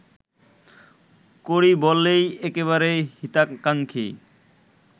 করি বলেই একেবারে হিতাকাঙ্ক্ষী